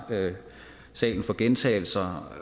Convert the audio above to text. salen for gentagelser